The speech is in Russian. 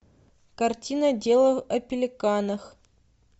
картина дело о пеликанах